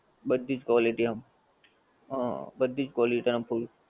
બધીજ quality આમ, હા બધીજ quality આમ થોડી